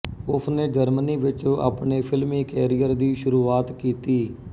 ਉਸਨੇ ਜਰਮਨੀ ਵਿੱਚ ਆਪਣੇ ਫਿਲਮੀ ਕੈਰੀਅਰ ਦੀ ਸ਼ੁਰੂਆਤ ਕੀਤੀ